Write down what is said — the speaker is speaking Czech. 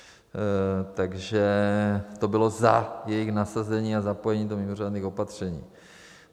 Takže to bylo za jejich nasazení a zapojení do mimořádných opatření.